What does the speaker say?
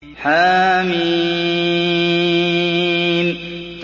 حم